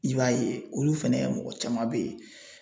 I b'a ye olu fɛnɛ ka mɔgɔ caman bɛ ye.